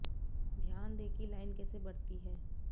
ध्यान दें कि लाइन कैसे बढ़ती है